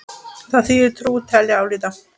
Þar þýðir trúa: telja, álíta.